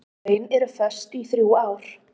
Laun eru föst í þrjú ár.